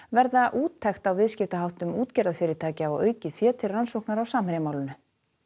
varða úttekt á viðskiptaháttum útgerðarfyrirtækja og aukið fé til rannsóknar á Samherjamálinu